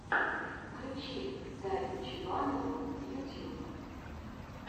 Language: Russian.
включи дарью чебанову ютьюб